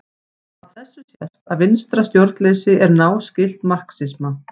Af þessu sést að vinstra stjórnleysi er náskylt marxisma.